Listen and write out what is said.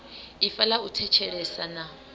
ifa ḽa u thetshelesa na